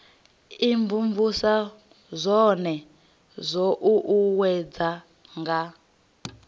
imvumvusa zwone zwo uuwedzwa nga